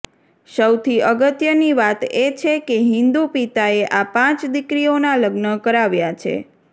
સૌથી અગત્યની વાત એ છે કે હિન્દુ પિતાએ આ પાંચ દીકરીઓના લગ્ન કરાવ્યા છે